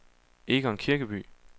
Egon Kirkeby